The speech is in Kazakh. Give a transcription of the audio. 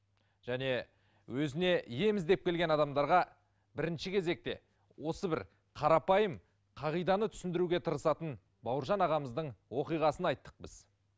және өзіне ем іздеп келген адамдарға бірінші кезекте осы бір қарапайым қағиданы түсіндіруге тырысатын бауыржан ағамыздың оқиғасын айттық біз